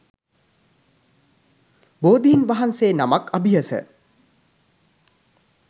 බෝධීන් වහන්සේ නමක් අභියස